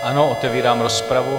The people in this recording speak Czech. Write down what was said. Ano, otevírám rozpravu.